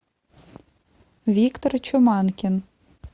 виктор чуманкин